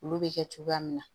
Olu bɛ kɛ cogoya min na